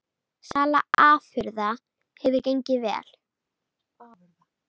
Sala afurða hefur gengið vel